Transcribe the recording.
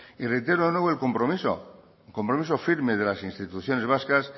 y reitero de nuevo el compromiso firme de las instituciones vascas